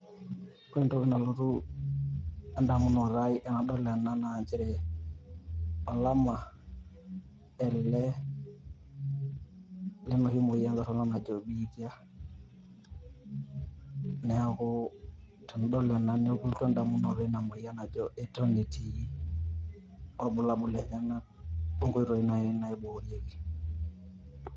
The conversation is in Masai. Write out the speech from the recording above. Ore entoki nalotu en`damunoto ai tenadol ena naa nchere, olama ele lenoshi moyian torrono najo biitia. Niaku tenidol ena nelotu en`damunoto eina moyian najo eton etii ilbulabul lenyenak o nkoitoi naaji naiboorieki.